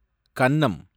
கன்னம்